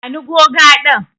Bani goga din.